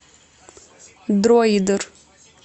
дроидер